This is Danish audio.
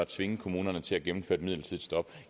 tvinge kommunerne til at gennemføre et midlertidigt stop